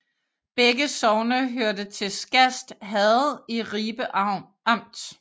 Begge sogne hørte til Skast Herred i Ribe Amt